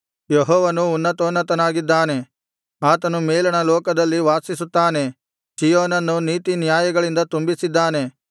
ಯೆಹೋವನು ಉನ್ನತೋನ್ನತನಾಗಿದ್ದಾನೆ ಆತನು ಮೇಲಣ ಲೋಕದಲ್ಲಿ ವಾಸಿಸುತ್ತಾನೆ ಚೀಯೋನನ್ನು ನೀತಿನ್ಯಾಯಗಳಿಂದ ತುಂಬಿಸಿದ್ದಾನೆ